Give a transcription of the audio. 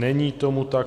Není tomu tak.